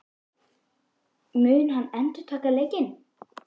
Mun hann endurtaka leikinn?